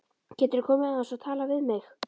GETURÐU KOMIÐ AÐEINS OG TALAÐ VIÐ MIG!